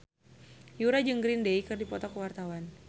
Yura jeung Green Day keur dipoto ku wartawan